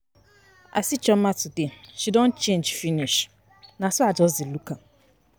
I see Chioma today. She don change finish, na so I just dey look am.